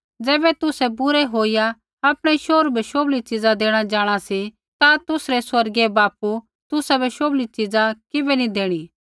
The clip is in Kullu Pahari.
ज़ैबै तुसै बुरै होईया आपणै शोहरू बै शोभली च़ीज़ा देणा जाँणा सी ता तुसरै स्वर्गीय बापू तुसाबै शोभली च़ीज़ा किबै नी देणी